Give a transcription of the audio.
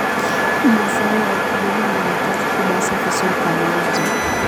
Mazao ya wakulima yanahitaji kupangwa vizuri kwa mauzo